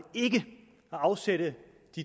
ikke at afsætte